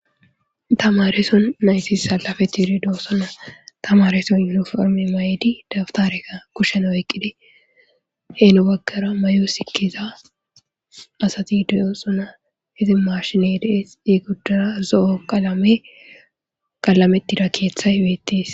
tamareson naysis salafe tire doosonna tamareso inoforme may7idi daftareka kushena oyqqide heenu gaggara mayo sikkiza asati deyoosona hizi marshine dees egoddara zo7o qalame qalametida keeththay beettis